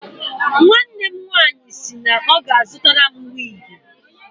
Nwanne m nwaanyị sị na ọ ga-azụtara m wiigi.